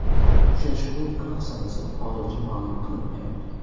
Uchrashuvning aniq sanasi hozircha ma’lum qilinmayapti.